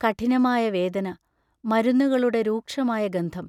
കഠിനമായ വേദന മരുന്നുകളുടെ രൂക്ഷമായ ഗന്ധം.......